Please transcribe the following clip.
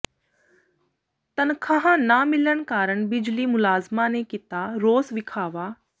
ਤਨਖ਼ਾਹਾਂ ਨਾ ਮਿਲਣ ਕਾਰਨ ਬਿਜਲੀ ਮੁਲਾਜ਼ਮਾਂ ਨੇ ਕੀਤਾ ਰੋਸ ਵਿਖਾਵਾ